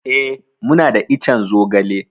Eh, muna da ican zogale.